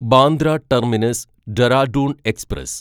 Bandra terminus Dehradun express